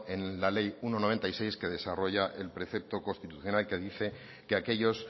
en la ley uno barra noventa y seis que desarrolla el precepto constitucional que dice que aquellos